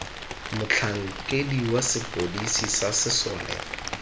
motlhankedi wa sepodisi sa sesole